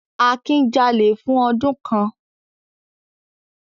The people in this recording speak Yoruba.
Akin jalè fún ọdún kan.